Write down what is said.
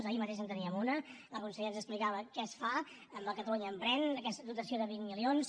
ahir mateix en teníem una la consellera ens explicava què es fa amb el catalunya emprèn aquesta dotació de vint milions